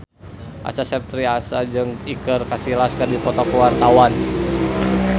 Acha Septriasa jeung Iker Casillas keur dipoto ku wartawan